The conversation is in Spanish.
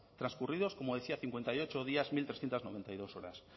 transcurridos como decía cincuenta y ocho días mil trescientos noventa y dos horas